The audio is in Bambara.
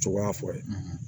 Cogoya fɔ ye